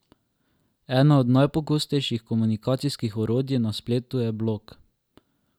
Ena od najpogostejših komunikacijskih orodij na spletu je blog.